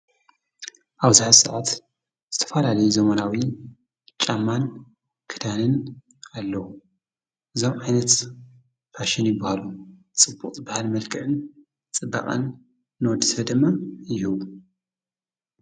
ኣብት ሰዓት ዝተፋላለየ ዘመናዊ ጫማን ክዳንን ኣለዉ ዞም ዓይነት ፋሸኒ ብሃሉ ጽቡቕጽ በሃል መልክዕን ጽበቓን ኖድ ስፈ ደማ ይሁብ።